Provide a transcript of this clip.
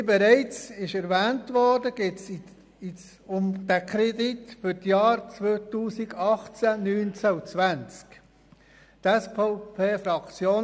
Wie bereits erwähnt worden ist, geht es um den Kredit für die Jahre 2018, 2019 und 2020.